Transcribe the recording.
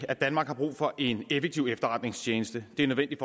at danmark har brug for en effektiv efterretningstjeneste det er nødvendigt